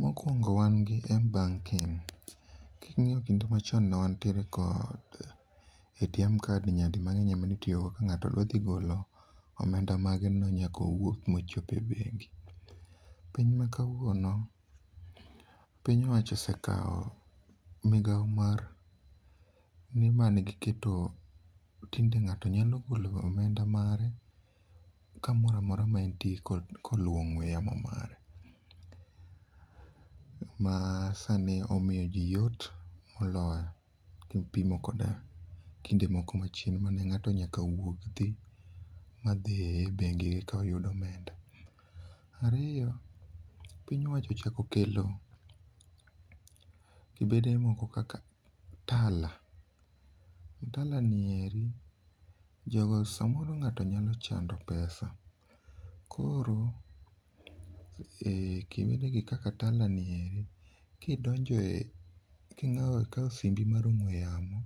Mokwongo wan gi M-banking. King'iyo kinde machon newntiere kod ATM card nyadi mang'eny emanitiyogo ka ng'ato dwa dhi golo omenda mage no nyakowuog mochop e bengi. Piny ma kawuono, piny owacho osekao migao mar nimangiketo tinde ng'ato nyalo golo omenda mare kamoramora maentie koluwo ong'we yamo mare. Ma sani omiyo ji yot moloyo kipimo kod kinde moko manchien mane ng'ato nyaka wuog dhi e bengi ekoyud omenda. Ariyo, piny owacho ochakokelo kibede moko kaka Tala. Tala nieri, jogo samoro ng'ato nyalo chando pesa. Koro, e kibede gi Tala nieri, kidonjo e king'ao kao simbi mar ong'we yamo,